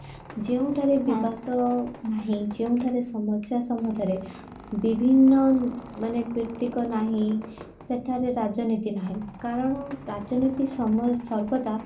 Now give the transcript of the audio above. ଯେଉଁଠାରେ ବିବାଦ ଯେଉଁଠାରେ ସମସ୍ଯା ସମ୍ବନ୍ଧରେ ବିଭିନ୍ନ ମାନେ ପ୍ରୀତିକ ନାହିଁ ସେଠାରେ ରାଜନୀତି ନାହିଁ କାରଣ ରାଜନୀତି ସାମଲ ସର୍ବଦା